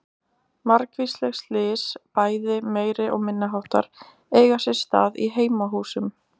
Margvísleg slys, bæði meiri- og minniháttar eiga sér stað í heimahúsum.